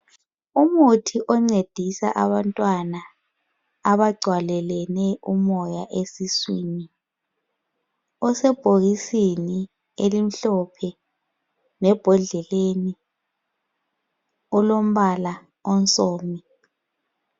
Umuthi oncedisa abantwana abagcwele umoya esiswini osebhokisini elimhlophe embodleleni olombala owomdaka